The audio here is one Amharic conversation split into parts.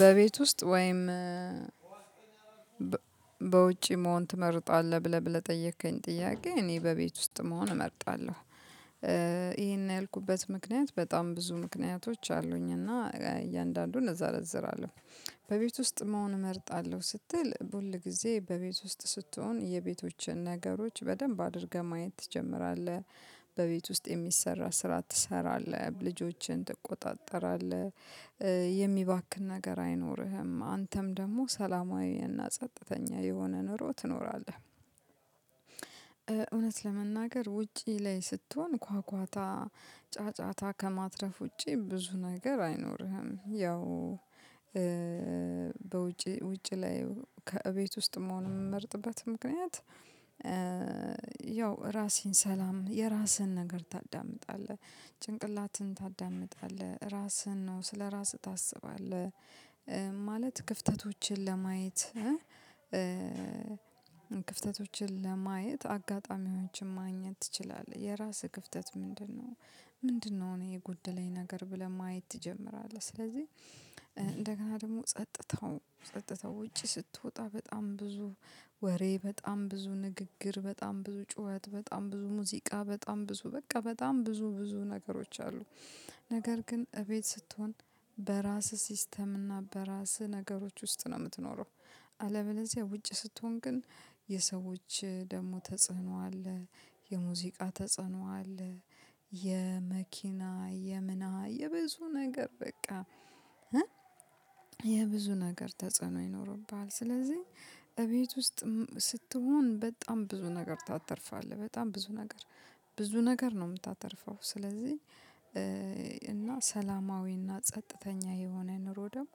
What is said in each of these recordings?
በቤት ውስጥ ወይም በውጪ መሆን ትመርጣለህ ብለህ ብለህ ጠየከኝ? ጥያቄ እኔ በቤት ውስጥ መሆን እመርጣለሁ። ይሄን ያልኩበት ምክንያት በጣም ብዙ ምክንያቶች አሉኝ እና እያንዳንዱን እዘረዝራለሁ። አለው በቤት ውስጥ መሆን እመርጣለሁ ስትል ሁል ጊዜ በቤት ውስጥ ስትሆን የቤቶችን ነገሮች በደንብ አድርገህ ማየት ትጀምራለህ። በቤት ውስጥ የሚሰራ ስራ ትሰራለህ ልጆችን ትቆጣጠራለህ። የሚባክን ነገር አይኖርህም አንተም ደግሞ ሰላማዊና ጸጥተኛ የሆነ ኑሮ ትኖራለህ። ለመናገር ውጪ ላይ ስትሆን ኳኳታ ጫጫታ ከማትረፍ ውጪ ብዙ ነገር አይኖርህም። ያው በውጪ ውጪ ላይ ከእቤት ውስጥ መሆን የምመርጥበት ምክንያት። ያው ራሴን ሰላም የራስህን ነገር ታዳምጣለህ። ጭንቅላትንህን ታዳምጣለህ ራስህን ነው ስለራስህ ታስባለህ። ክፍተቶችን ለማየት ክፍተቶችን ለማየት አጋጣሚዎችን ማግኘት ትችላለህ። የራስህ ክፍተት ምንድነው? ምንድነው እኔ የጎደለኝ ነገር ብለህ ማየት ትጀምራለህ። ስለዚህ እንደገና ደግሞ ጸጥታው ጸጥታው ውጭ ስትወጣ በጣም ብዙ ወሬ በጣም ብዙ ንግግር በጣም ብዙ ጩኸት በጣም ብዙ ሙዚቃ በጣም ብዙ በቃ በጣም ብዙ ብዙ ነገሮች አሉ። ነገር ግን እቤት ስትሆን በራስህ ሲስተም እና በራስህ ነገሮች ውስጥ ነው የምትኖረው። አለበለዚያ ውጭ ስትሆን ግን የሰዎች ደግሞ ተጽዕኖ አለ። የሙዚቃ ተጽዕኖ አለ። የመኪና የምና የብዙ ነገር በቃ የብዙ ነገር ተጽዕኖ ይኖርብሃል። ስለዚህ እቤት ውስጥ ስትሆን በጣም ብዙ ነገር ታተርፋለህ በጣም ብዙ ነገር ብዙ ነገር ነው የምታተርፈው። ስለዚህ እና ሰላማዊና ጸጥተኛ የሆነ ኑሮ ደግሞ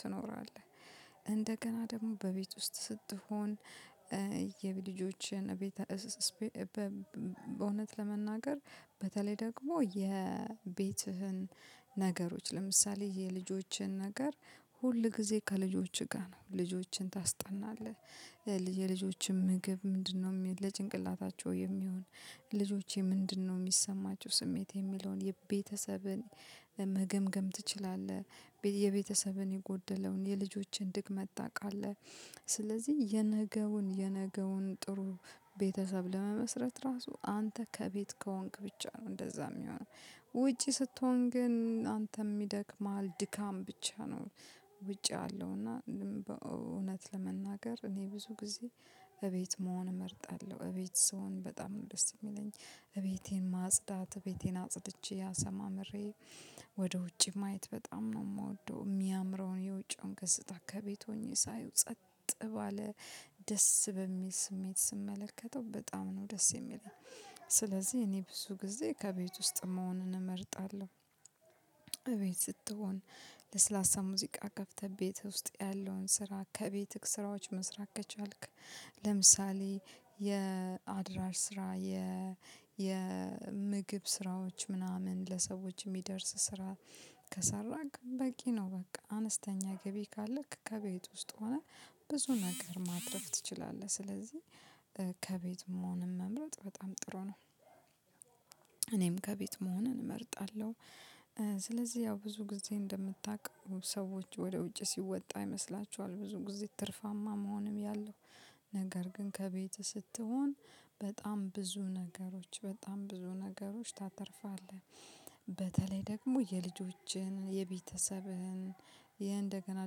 ትኖራለህ። እንደገና ደግሞ በቤት ውስጥ ስትሆን የቤት ልጆችን ቤት በእውነት ለመናገር በተለይ ደግሞ የቤትህን ነገሮች ለምሳሌ የልጆችን ነገር ሁል ጊዜ ከልጆችህ ጋር ነው ልጆችን ታስጠናለህ። የልጆችም ምግብ ምንድነው? ለጭንቅላታቸው የሚሆን ልጆቼ ምንድነው የሚሰማቸው ስሜት የሚለውን የቤተሰብን መገምገም ትችላለህ። የቤተሰብን የጎደለውን የልጆችን ድክመት ታውቃለህ። ስለዚህ የነገውን የነገውን ጥሩ ቤተሰብ ለመመስረት ራሱ አንተ ከቤት ከሆንክ ብቻ ነው እንደዛ የሚሆነው። ውጪ ስትሆን ግን አንተም ይደክምሀል ድካም ብቻ ነው። ውጭ ያለው እና እውነት ለመናገር እኔ ብዙ ጊዜ እቤት መሆን እመርጣለሁ። እቤት ስሆን በጣም ነው ደስ የሚለኝ። እቤቴን ማጽዳት እቤቴን ቤቴን አጽድቼ አሰማምሬ ወደ ውጪ ማየት በጣም ነው የምወደው። የሚያምረውን የውጪውን ገጽታ ከቤት ሆኜ ሳየው ጸጥ ባለ ደስ በሚል ስሜት ስመለከተው በጣም ነው ደስ የሚለኝ። ስለዚህ እኔ ብዙ ጊዜ ከቤት ውስጥ መሆንን እመርጣለሁ። እቤት ስትሆን ለስላሳ ሙዚቃ ከፍተህ ቤት ውስጥ ያለውን ስራ ከቤትህ ስራዎች መስራት ከቻልክ። ለምሳሌ የአድራር ስራ የ የምግብ ስራዎች ምናምን ለሰዎች የሚደርስ ስራ። ከሰራክ በቂ ነው በቃ አነስተኛ ገቢ ካለክ ከቤት ውስጥ ሆነህ ብዙ ነገር ማትረፍ ትችላለህ ስለዚህ ከቤት መሆንም መምረጥ በጣም ጥሩ ነው። እኔም ከቤት መሆን እመርጣለሁ። ስለዚህ ያው ብዙ ጊዜ እንደምታውቁ ሰዎች ወደ ውጭ ሲወጣ ይመስላችኋል ብዙ ጊዜ ትርፋማ መሆንም ያለው። ነገር ግን ከቤትህ ስትሆን በጣም ብዙ ነገሮች በጣም ብዙ ነገሮች ታተርፋለህ። በተለይ ደግሞ የልጆችህን የቤተሰብህን ይህ እንደገና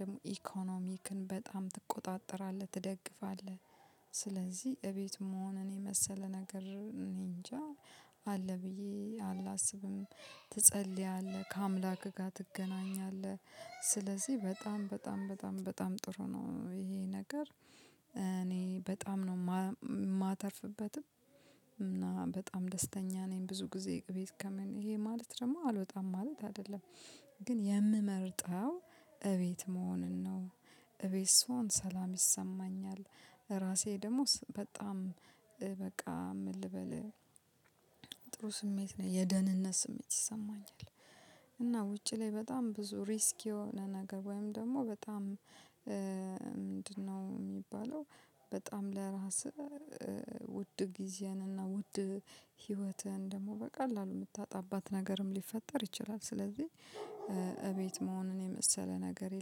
ደግሞ ኢኮኖሚክን በጣም ትቆጣጥራለህ ትደግፋለህ። ስለዚህ እቤት መሆን እኔ የመሰለ ነገር እኔ እንጃ አለ ብዬ አላስብም። ትጸልያለህ ከአምላክ ጋር ትገናኛለህ። ስለዚህ በጣም በጣም በጣም በጣም ጥሩ ነው ይሄ ነገር። እኔ በጣም ነው የማተርፍበትም እና በጣም ደስተኛ ነኝ። ብዙ ጊዜ ቤት ከምን ይሄ ማለት ደግሞ አልወጣም ማለት አይደለም። ግን የምመርጠው እቤት መሆንን ነው። እቤት ስሆን ሰላም ይሰማኛል። ራሴ ደሞ በጣም በቃ ምን ልበልህ ጥሩ ስሜት ነው የደህንነት ስሜት ይሰማኛል። እና ውጪ ላይ በጣም ብዙ ሪስክ የሆነ ነገር ወይም ደግሞ በጣም ምንድነው የሚባለው? በጣም ለራስህ ውድ ጊዜህን እና ውድ ህይወትህን ደግሞ በቃላሉ የምታጣባት ነገርም ሊፈጠር ይችላል። ስለዚህ እቤት መሆኑን የመሰለ ነገር የለም